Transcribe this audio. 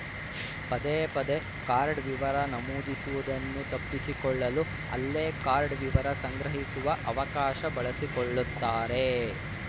ಪದೇ ಪದೇ ಕಾರ್ಡ್‌ ವಿವರ ನಮೂದಿಸುವುದನ್ನು ತಪ್ಪಿಸಿಕೊಳ್ಳಲು ಅಲ್ಲೇ ಕಾರ್ಡ್‌ ವಿವರ ಸಂಗ್ರಹಿಸುವ ಅವಕಾಶ ಬಳಸಿಕೊಳ್ಳುತ್ತಾರೆ